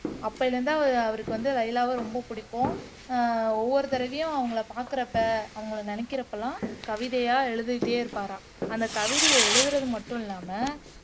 அப்பயில இருந்து அவருக்கு வந்து லைலாவ ரொம்ப புடிக்கும் ஆஹ் ஒவ்வொரு தடைவையும் அவங்களை பார்க்குறப்ப அவங்களை நினைக்குறப்போ எல்லாம் கவிதையா எழுதிட்டே இருப்பாராம் அந்த கவிதைய எழுதுறது மட்டும் இல்லாம